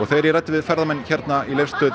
þegar ég ræddi við ferðamenn hérna í Leifsstöð